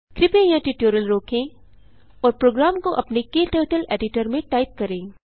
कृपया यहाँ ट्यूटोरियल रोकें और प्रोग्राम को अपने क्टर्टल editorमें टाइप करें